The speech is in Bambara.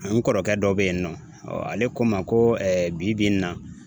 N kɔrɔkɛ dɔ bɛ yen nɔ ale ko n ma ko bi bi in na